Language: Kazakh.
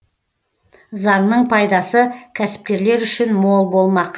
заңның пайдасы кәсіпкерлер үшін мол болмақ